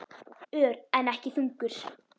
Ör, en ekki þungur.